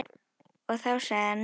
Og þá sagði hann nei.